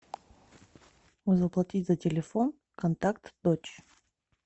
заплатить за телефон контакт дочь